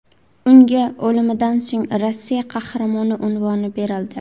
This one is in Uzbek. Unga o‘limidan so‘ng Rossiya Qahramoni unvoni berildi.